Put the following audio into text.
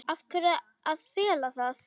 Af hverju að fela það?